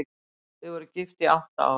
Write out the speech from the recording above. Þau voru gift í átta ár.